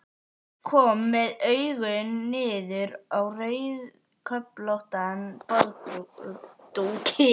Kom með augun niður á rauðköflóttan borðdúkinn aftur.